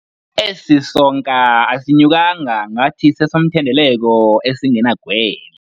Esi sonka asinyukanga ngathi sesomthendeleko esingenagwele.